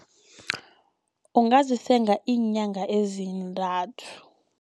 Ungazisenga iinyanga ezintathu.